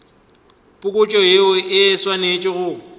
phokotšo yeo e swanetše go